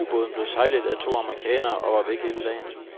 Ubåden blev sejlet af to amerikanere og var væk hele dagen.